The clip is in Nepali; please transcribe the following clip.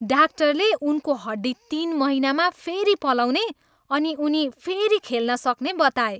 डाक्टरले उनको हड्डी तिन महिनामा फेरि पलाउने अनि उनी फेरि खेल्न सक्ने बताए।